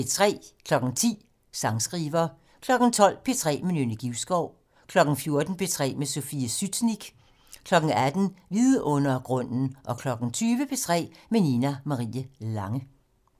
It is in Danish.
10:00: Sangskriver 12:00: P3 med Nynne Givskov 14:00: P3 med Sofie Sytnik 18:00: Vidundergrunden 20:00: P3 med Nina Marie Lange